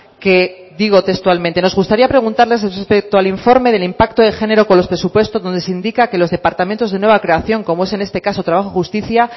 que digo textualmente nos gustaría preguntarles respecto al informe del impacto de género con los presupuestos donde se indica que los departamentos de nueva creación como es en este caso trabajo y justicia